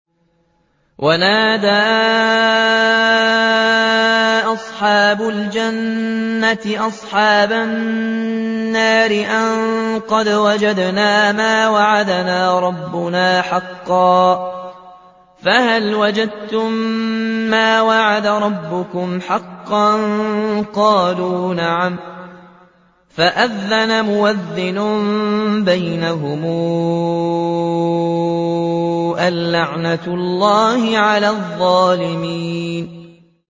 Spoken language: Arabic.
وَنَادَىٰ أَصْحَابُ الْجَنَّةِ أَصْحَابَ النَّارِ أَن قَدْ وَجَدْنَا مَا وَعَدَنَا رَبُّنَا حَقًّا فَهَلْ وَجَدتُّم مَّا وَعَدَ رَبُّكُمْ حَقًّا ۖ قَالُوا نَعَمْ ۚ فَأَذَّنَ مُؤَذِّنٌ بَيْنَهُمْ أَن لَّعْنَةُ اللَّهِ عَلَى الظَّالِمِينَ